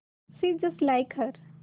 she is just like her